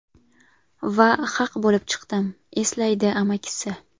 Va haq bo‘lib chiqdim”, eslaydi amakisi.